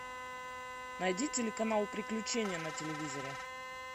найди телеканал приключения на телевизоре